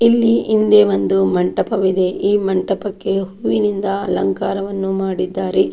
ಇಲ್ಲಿ ಹಿಂದೆ ಒಂದು ಮಂಟಪವಿದೆ ಈ ಮಂಟಪಕ್ಕೆ ಹೂವಿನಿಂದ ಅಲಂಕಾರವನ್ನು ಮಾಡಿದ್ದಾರೆ.